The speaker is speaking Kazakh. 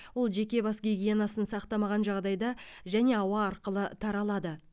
ол жеке бас гигиенасын сақтамаған жағдайда және ауа арқылы таралады